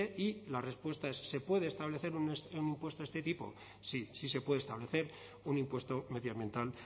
y la respuesta es se puede establecer un impuesto de este tipo sí sí se puede establecer un impuesto medioambiental